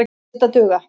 Lét það duga.